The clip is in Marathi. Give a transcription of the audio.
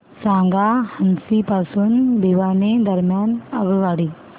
सांगा हान्सी पासून भिवानी दरम्यान आगगाडी